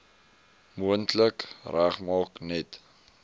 moontlik regmaak net